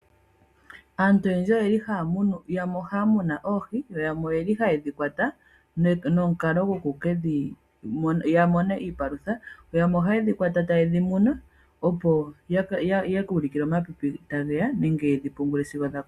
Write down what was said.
Aantu oyendji oyeli haya munu oohi, yo yamwe oyeli haye dhi kwata ya mone iipalutha, yo yamwe ohaye dhi kwata taye yedhi munu opo yaka ulikile omapipi tageya nenge yedhi pungule sigo dhakukuta.